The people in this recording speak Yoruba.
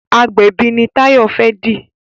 agbẹbi ní Tayo fè di.